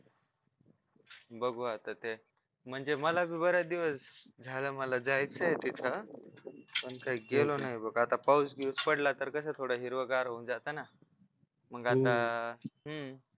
बघू आता ते म्हणजे मलाच बरेच दिवस झालं मला जायचंय तिथं पण काही गेलो नाही बघ आता पाऊस बिऊस पडला तर कस थोडं हिरवंगार होऊन जात ना मग आता हम्म